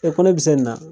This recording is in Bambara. ko ne bɛ se nin na